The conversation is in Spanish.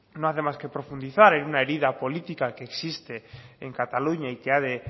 no hace más que profundizar en una herida política que existe en cataluña y que ha de